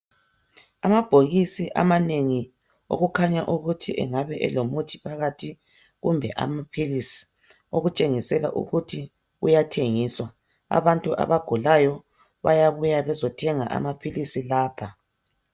Amabhokisi amanengi okukhanya ukuthi engabe elomuthi phakathi kumbe amaphilisi okutshengisela ukuthi kuyathengiswa. Abantu abagulayo bayabuya bezothenga amaphilisi lapha